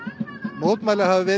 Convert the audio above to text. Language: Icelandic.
mótmæli hafa verið